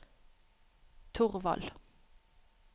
Torvald